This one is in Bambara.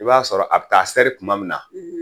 I b'a sɔrɔ a bɛ taa sɛri tuma min na